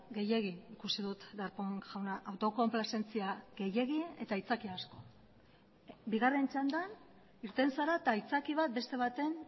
gehiegi ikusi dut darpón jauna autokonplazentzia gehiegi eta aitzakia asko bigarren txandan irten zara eta aitzaki bat beste baten